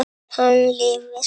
Hann lifi!